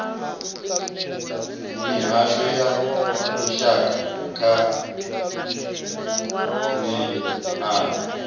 mihasho ya lushaka nay a